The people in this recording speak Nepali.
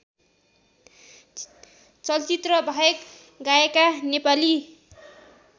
चलचित्रबाहेक गाएका नेपाली